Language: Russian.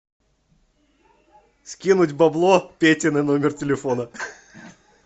скинуть бабло пете на номер телефона